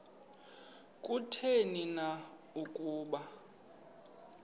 kutheni na ukuba